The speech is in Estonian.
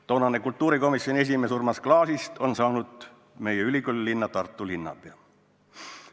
Toonasest kultuurikomisjoni esimehest Urmas Klaasist on saanud meie ülikoolilinna, Tartu linnapea.